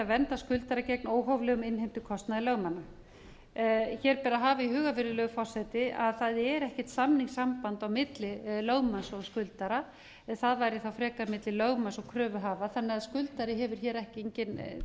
vernda skuldara gegn óhóflegum innheimtukostnaði lögmanna hér ber að hafa í huga virðulegur forseti að það er ekkert þannig samband á milli lögmanns og skuldara en það væri frekar milli lögmanns og kröfuhafa þannig að skuldari hefur hér engin